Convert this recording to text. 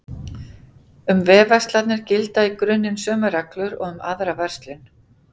Um vefverslanir gilda í grunninn sömu reglur og um aðra verslun.